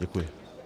Děkuji.